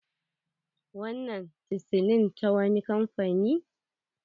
Wannan chisilin ta wani kamfani?